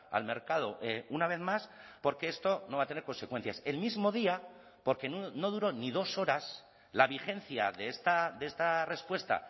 al mercado una vez más porque esto no va a tener consecuencias el mismo día porque no duró ni dos horas la vigencia de esta respuesta